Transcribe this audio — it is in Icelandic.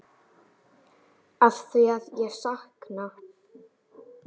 Afþvíað ég sakna.